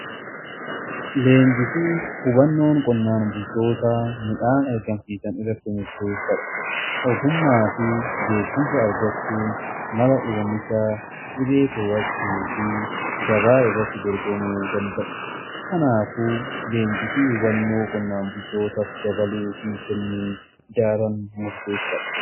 Leenjii fi hubannoon qonnaan bultoota midhaan argamsiisan irratti murteessaadha. Ogummaa fi beekumsa argachuun mala oomishaa dhibee to'achuu fi gabaa irratti dorgomuu danda'u. Kanaaf leenjii fi hubannoo qonnaan bultootaaf dabaluu fi kennuu daran murteessaadha.